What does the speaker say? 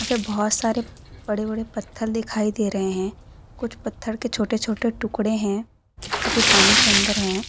यहां पे बहुत सारे बड़े बड़े पत्थर दिखाई दे रहे हैं कुछ पत्थर के छोटे छोटे टुकड़े हैं जोकि पानी के अंदर हैं।